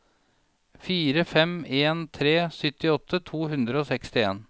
fire fem en tre syttiåtte to hundre og sekstien